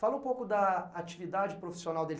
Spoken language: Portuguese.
Fala um pouco da atividade profissional dele.